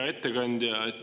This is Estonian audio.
Hea ettekandja!